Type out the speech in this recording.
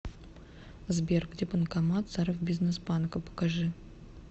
сбер где банкомат саровбизнесбанка покажи